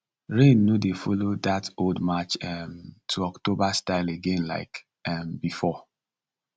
rain no dey follow that old march um to october style again like um before